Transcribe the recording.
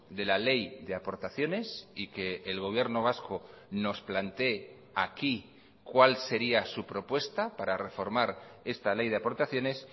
de la ley de aportaciones y que el gobierno vasco nos plantee aquí cuál sería su propuesta para reformar esta ley de aportaciones